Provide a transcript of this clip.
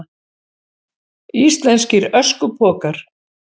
Íslenskir öskupokar.